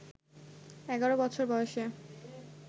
১১ বছর বয়সে